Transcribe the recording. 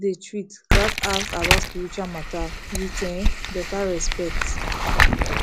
people when dey treat gats ask about spiritual matter with um better respect